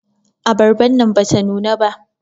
Abarban nan bata nuna ba.